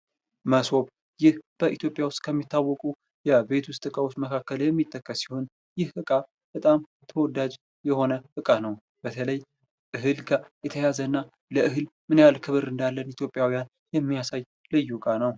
ሞሶብ ይህ በኢትዮጵያ ከሚታወቁ የቤት ውስጥ ዕቃዎች የሚጠቀስ ሲሆን ይህ ዕቃ በጣም ተወዳጅ የሆነ ዕቃ ነው። በተለይ ከእህል ጋ የተያያዘ እና ለእህል ምን ያህል ክብር እዳለን ኢትዩጲያውያን የሚያሳይ ልዩ ዕቃ ነው።